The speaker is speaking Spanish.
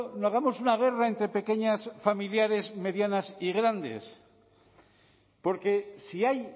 no hagamos una guerra entre pequeñas familiares medianas y grandes porque si hay